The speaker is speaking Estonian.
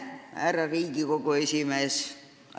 Härra Riigikogu esimees!